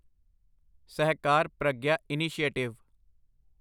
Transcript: Sahakar Pragya initiative